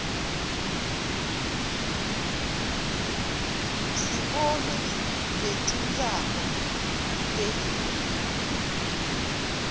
sibona netingzaba telive